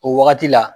O wagati la